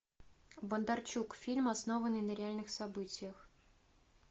бондарчук фильм основанный на реальных событиях